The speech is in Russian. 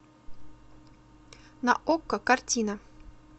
на окко картина